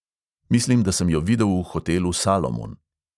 Mislim, da sem jo videl v hotelu salomon.